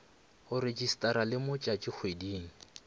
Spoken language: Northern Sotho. go rejistarwa le mo tšatšikgweding